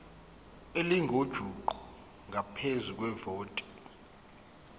elingujuqu ngaphezu kwevoti